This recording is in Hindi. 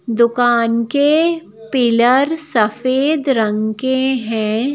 दुकान के पिलर सफेद रंग के हैं।